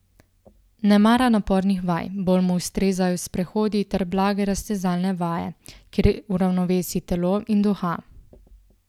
Ne mara napornih vaj, bolj mu ustrezajo sprehodi ter blage raztezalne vaje, kjer uravnovesi telo in duha.